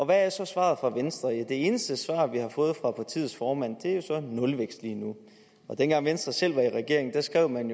hvad er så svaret fra venstre det eneste svar vi har fået fra partiets formand er nulvækst lige nu dengang venstre selv var i regering skrev man